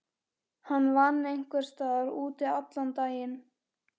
Hann vann einhvers staðar úti allan daginn.